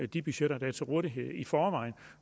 de budgetter der er til rådighed i forvejen